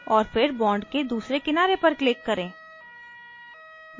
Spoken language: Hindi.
और फिर bond के दूसरे किनारे पर click करें